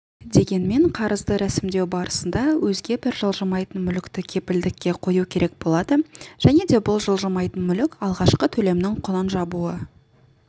дегенмен қарызды рәсімдеу барысында өзге бір жылжымайтын мүлікті кепілдікке қою керек болады және де бұл жылжымайтын мүлік алғашқы төлемнің құнын жабуы